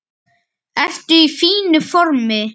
Ertu í fínu formi?